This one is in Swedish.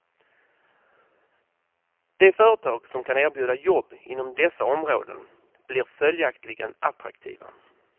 De företag som kan erbjuda jobb inom dessa områden blir följaktligen attraktiva.